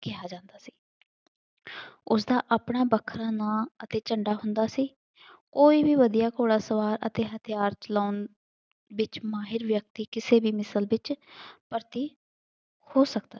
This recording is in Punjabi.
ਕਿਹਾ ਜਾਂਦਾ ਸੀ। ਉਸਦਾ ਆਪਣਾ ਵੱਖਰਾ ਨਾਮ ਅਤੇ ਝੰਡਾ ਹੁੰਦਾ ਸੀ। ਕੋਈ ਵੀ ਵਧੀਆਂ ਘੋੜਸਵਾਰ ਅਤੇ ਹਥਿਆਰ ਚਲਾਉਣ ਵਿੱਚ ਮਾਹਿਰ ਵਿਅਕਤੀ ਕਿਸੇ ਮਿਸਲ ਵਿੱਚ ਭਰਤੀ ਹੋ ਸਕਦਾ